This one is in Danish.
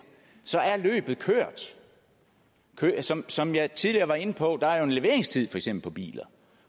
så er løbet kørt som som jeg tidligere var inde på er eksempel en leveringstid på biler